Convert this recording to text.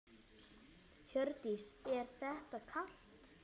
Hjördís: Er þér kalt?